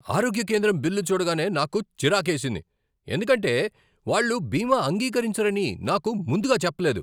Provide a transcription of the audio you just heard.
ఆరోగ్య కేంద్రం బిల్లు చూడగానే నాకు చిరాకేసింది ఎందుకంటే వాళ్ళు బీమా అంగీకరించరని నాకు ముందుగా చెప్పలేదు.